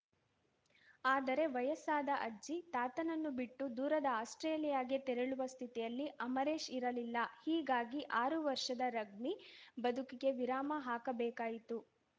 ಆದರೆ ವಯಸ್ಸಾದ ಅಜ್ಜಿ ತಾತನನ್ನು ಬಿಟ್ಟು ದೂರದ ಆಸ್ಪ್ರೇಲಿಯಾಗೆ ತೆರಳುವ ಸ್ಥಿತಿಯಲ್ಲಿ ಅಮರೇಶ್‌ ಇರಲಿಲ್ಲ ಹೀಗಾಗಿ ಆರು ವರ್ಷದ ರಗ್ಬಿ ಬದುಕಿಗೆ ವಿರಾಮ ಹಾಕಬೇಕಾಯಿತು